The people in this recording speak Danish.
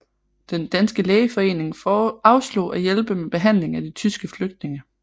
Den danske lægeforening afslog at hjælpe med behandlingen af de tyske flygtninge